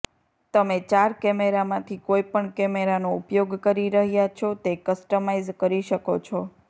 તમે ચાર કેમેરામાંથી કોઈપણ કેમેરાનો ઉપયોગ કરી રહ્યાં છો તે કસ્ટમાઇઝ કરી શકો છો